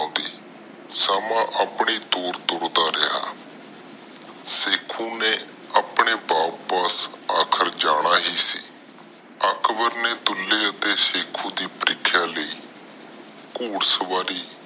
ਤੁਰਦਾ ਰਿਹਾ ਆਪਣੇ ਵਾਪਿਸ ਜਾਣਾ ਹੀ ਸੀ ਅਕਬਰ ਨੇ ਦੁਲੇ ਬਰਾਬਰ ਸੇਕੁ ਦੇ ਪ੍ਰੀਖਿਆ ਲਾਇ ਘੋਰ ਸਵਾਰੀ